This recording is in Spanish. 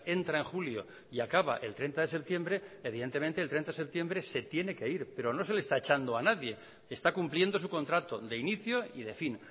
entra en julio y acaba el treinta de septiembre evidentemente el treinta de septiembre se tiene que ir pero no se le está echando a nadie está cumpliendo su contrato de inicio y de fin